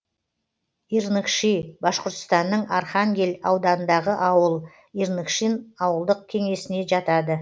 ирныкши башқұртстанның архангель ауданындағы ауыл ирныкшин ауылдық кеңесіне жатады